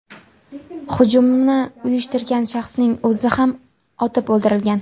Hujumni uyushtirgan shaxsning o‘zi ham otib o‘ldirilgan.